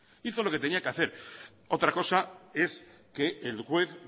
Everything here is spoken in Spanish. hizo lo que tenía que hacer otra cosa es que el juez